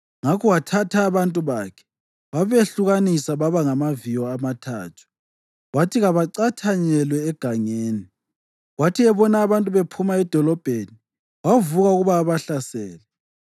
Ngakho wathatha abantu bakhe, wabehlukanisa baba ngamaviyo amathathu wathi kabacathanyelwe egangeni. Kwathi ebona abantu bephuma edolobheni wavuka ukuba abahlasele.